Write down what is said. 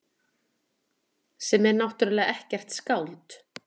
Sem er náttúrlega ekkert skáld.